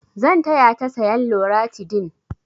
Zan taya ta sayan loratidin.